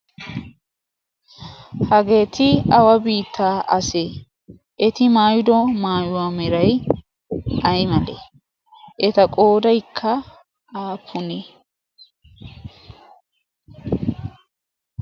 Hageeti awa biittaa asee? Eti maayido maayuwa meray ay malee? Eta qoodaykka aappunee?